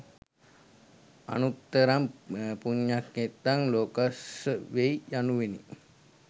අනුත්තරං පුඤ්ඤක්ඛෙත්තං ලෝකස්ස වෙයි යනුවෙනි.